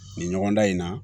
Nin ɲɔgɔn dan in na